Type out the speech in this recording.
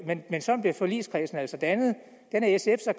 men sådan blev forligskredsen altså dannet den er sf så